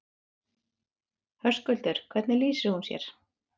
Höskuldur: Hvernig lýsir hún sér?